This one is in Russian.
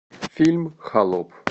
фильм холоп